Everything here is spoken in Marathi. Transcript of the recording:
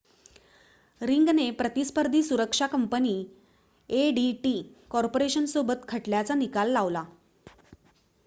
रिंगने प्रतिस्पर्धी सुरक्षा कंपनी एडीटी कॉर्पोरेशनसोबत खटल्याचा निकाल लावला